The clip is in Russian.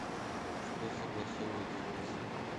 что согласовывают в кис